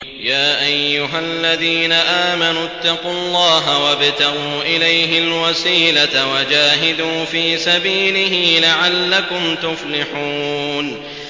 يَا أَيُّهَا الَّذِينَ آمَنُوا اتَّقُوا اللَّهَ وَابْتَغُوا إِلَيْهِ الْوَسِيلَةَ وَجَاهِدُوا فِي سَبِيلِهِ لَعَلَّكُمْ تُفْلِحُونَ